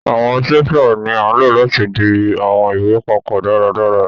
Àwọn stapler ní a ló láti dì àwọn ìwé papó dáradára.